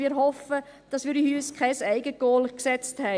Wir hoffen, dass wir uns kein Eigengoal geschossen haben.